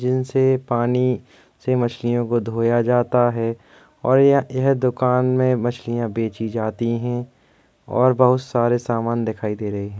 जिनसे पानी से मछलियों को धोया जाता है और यह यह दुकान में मछलिया बेची जाती हैं और बहुत सारे सामान दिखाई देते हैं।